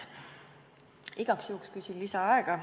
Igaks juhuks küsin ka lisaaega.